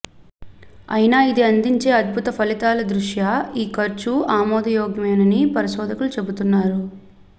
అయినా ఇది అందించే అద్భుత ఫలితాల దృష్ట్యా ఈ ఖర్చు ఆమోదయోగ్యమేనని పరిశోధకులు చెబుతున్నారు